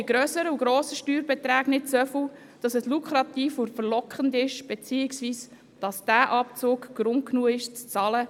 Die Bedeutung ist auch bei hohen Steuerbeträgen nicht hoch genug, damit es lukrativ wäre oder dass dieser Abzug Grund genug wäre, zu bezahlen.